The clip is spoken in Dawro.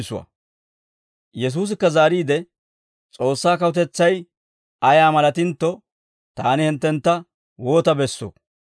Yesuusikka zaariide, «S'oossaa kawutetsay ayaa malatintto, taani hinttentta woota bessoo?